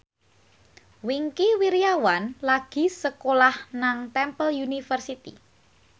Wingky Wiryawan lagi sekolah nang Temple University